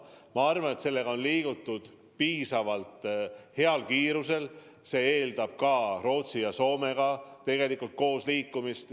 Ma arvan, et selle teemaga on edasi liigutud piisavalt heal kiirusel, ja see on ju tegelikult eeldanud ka Rootsi ja Soomega koos liikumist.